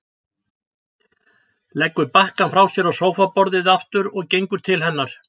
Leggur bakkann frá sér á sófaborðið aftur og gengur til hennar.